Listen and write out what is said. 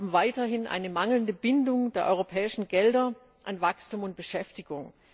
Wie haben weiterhin eine mangelnde Bindung der europäischen Gelder an Wachstum und Beschäftigung.